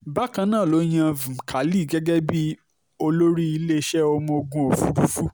bákan náà ló yan a vmkhali gẹ́gẹ́ bíi olórí iléeṣẹ́ ọmọ ogun òfurufú